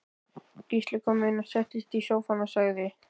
Gísli kom inn settist í sófann og sagði